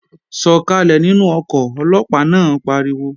Sọ̀kàlẹ̀ nínú ọkọ̀, Ọlọ́pàá náà pariwo!